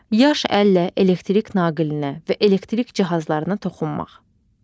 Yaş əllə elektrik naqilinə və elektrik cihazlarına toxunmaq.